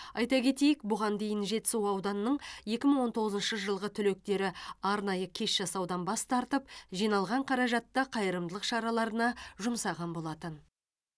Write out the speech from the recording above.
айта кетейік бұған дейін жетісу ауданының екі мың он тоғызыншы жылғы түлектері арнайы кеш жасаудан бас тартып жиналған қаражатты қайырымдылық шараларына жұмсаған болатын